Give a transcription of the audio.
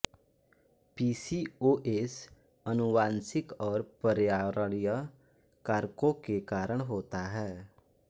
PCOS आनुवांशिक और पर्यावरणीय कारकों के कारण होता है